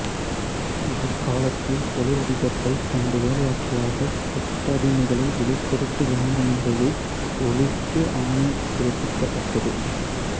இவர் காலத்தில் தொழிலதிபர்கள் தமது வேலையாட்களாகக் கொத்தடிமைகளை விலை கொடுத்து வாங்கும் முறையை ஒழித்து ஆணை பிறப்பிக்கப்பட்டது